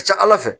A ka ca ala fɛ